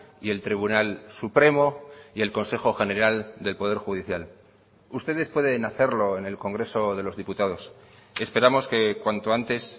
y el tribunal supremo y el consejo general del poder judicial ustedes pueden hacerlo en el congreso de los diputados esperamos que cuanto antes